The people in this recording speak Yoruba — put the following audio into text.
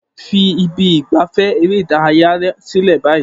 Fi ibi ìgbafẹ́ eré ìdárayá sílẹ̀ báyìí